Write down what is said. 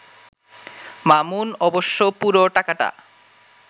মামুন অবশ্য পুরো টাকাটা